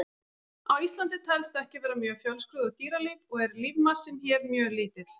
Á Íslandi telst ekki vera mjög fjölskrúðugt dýralíf og er lífmassinn hér mjög lítill.